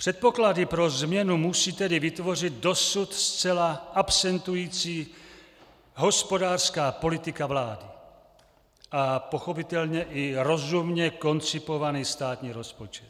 Předpoklady pro změnu musí tedy vytvořit dosud zcela absentující hospodářská politika vlády a pochopitelně i rozumně koncipovaný státní rozpočet.